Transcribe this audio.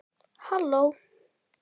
Halló